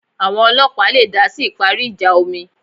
Àwọn ọlọ́ọ̀pá le dásí ìparí ìjà omi